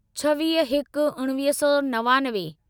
छवीह हिक उणिवीह सौ नवानवे